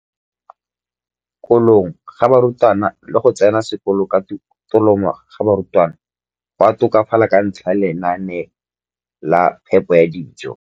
kolong ga barutwana le go tsena sekolo ka tolamo ga barutwana go a tokafala ka ntlha ya lenaane la phepo ya dijo.